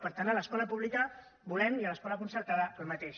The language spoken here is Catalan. per tant a l’escola pública volem i a l’escola concertada el mateix